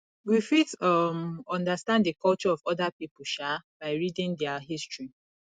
we fit um understand di culture of oda pipo um by reading their history